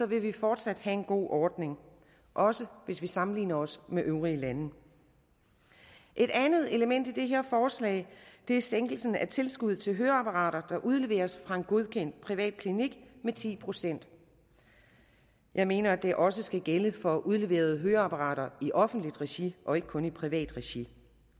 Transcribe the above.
vil vi fortsat have en god ordning også hvis vi sammenligner os med øvrige lande et andet element i det her forslag er sænkelse af tilskuddet til høreapparater der udleveres fra en godkendt privatklinik med ti procent jeg mener at det også skal gælde for udleverede høreapparater i offentligt regi og ikke kun i privat regi